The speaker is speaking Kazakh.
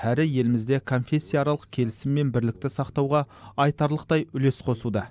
әрі елімізде конфессияаралық келісім мен бірлікті сақтауға айтарлықтай үлес қосуда